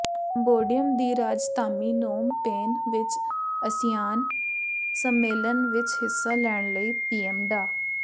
Cambodia ਦੀ ਰਾਜਧਾਮੀ Phnom Penh ਵਿਚ ਆਸੀਆਨ ਸੰਮੇਲਨ ਵਿਚ ਹਿੱਸਾ ਲੈਣ ਲਈ ਪੀਐਮ ਡਾ